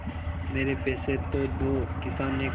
मेरे पैसे तो दो किसान ने कहा